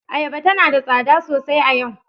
Ayaba tana da tsada sosai a yau.